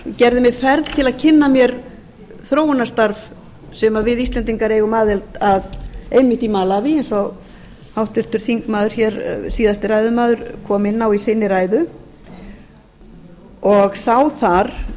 gerði mér ferð til að kynna mér þróunarstarf sem við íslendingar eigum aðild að einmitt í malaví sem háttvirtur seinasti ræðumaður kom inn á í sinni ræðu og sá þar